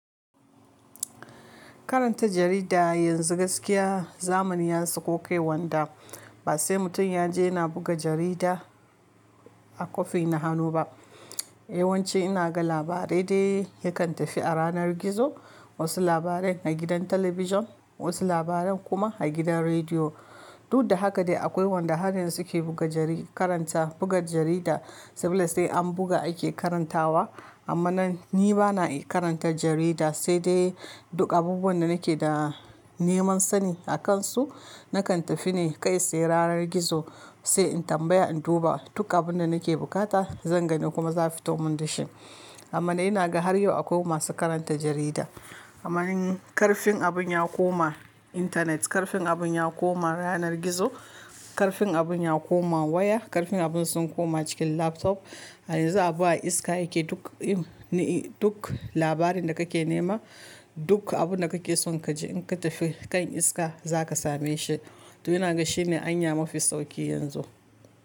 Karanta jarida yanzu gaskiya zamani ya sakokai wanda ba sai mutum ya je yana buga jarida a kwafi na hannu ba. Yawanci ina ga labarai dai yakan tafi a ranar gizo, wasu labaran a gidan talabijun, wasu labaran kuma a gidan rediyo. Duk da haka dai akwai wanda har yanzu ke buga jari karanta buga jarida sabila sai an buga ake karantawa. Amma nan ni bana karantar jarida, sai dai duk abubuwan da nake da neman sani akansu nakan tafi ne kai tsaye ranar gizo sai in tambaya in duba duk abunda nake bukata zan gani kuma za fito mun da shi. Amma ina ga har yau akwai masu karanta jarida. Amma karfin abun ya koma intanet, karfin abun ya koma yanar gizo, karfin abun ya koma waya, karfin abun sun koma cikin laptop. A yanzu abu a iska yake duk im ni duk labarin da kake nema duk abunda kake son kaji in ka tafi kan iska zaka same shi. To ina ga shine anya mafi sauƙi yanzu.